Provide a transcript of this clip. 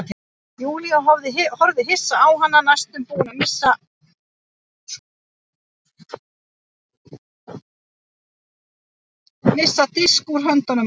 Júlía horfði hissa á hana næstum búin að missa disk úr höndunum á sér.